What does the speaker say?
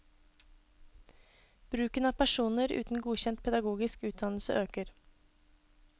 Bruken av personer uten godkjent pedagogisk utdannelse øker.